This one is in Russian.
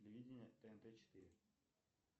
телевидение тнт четыре